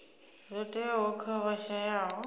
zwo teaho kha vha shayaho